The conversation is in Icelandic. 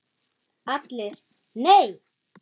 ALLIR: Nei!